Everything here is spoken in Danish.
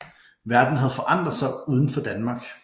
Verden havde forandret sig uden for Danmark